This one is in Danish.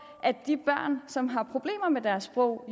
at de børn som har problemer med deres sprog